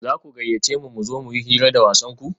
za ku gayyace mu mu zo mu yi hira da wasanku?